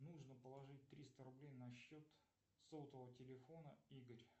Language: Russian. нужно положить триста рублей на счет сотового телефона игорь